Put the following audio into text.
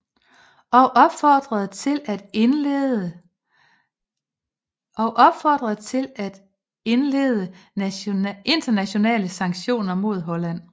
Og opfordrede til at indlede internationale sanktioner mod Holland